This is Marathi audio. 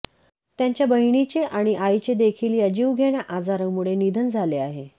त्यांच्या बहिणीचे आणि आईचे देखील या जीवघेण्या आजारामुळे निधन झाले आहे